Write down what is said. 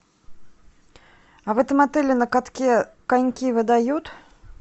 а в этом отеле на катке коньки выдают